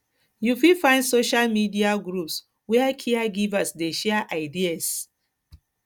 you fit find social media groups where caregivers dey share ideas dey share ideas